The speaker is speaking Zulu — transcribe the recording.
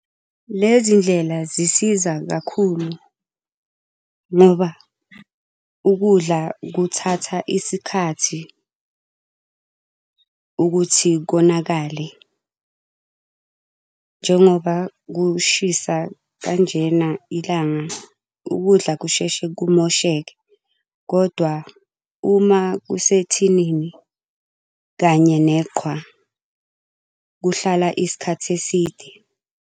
Lezi ndlela zisiza kakhulu ngoba ukudla kuthatha isikhathi ukuthi konakale. Njengoba kushisa kanjena ilanga, ukudla kusheshe kumosheka kodwa uma kusethinini kanye neqhwa, kuhlala isikhathi eside.